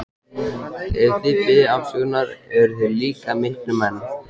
Ef þið biðjið afsökunar eruð þið líka miklir menn.